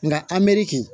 Nka an merikin